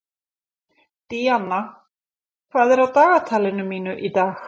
Díanna, hvað er á dagatalinu mínu í dag?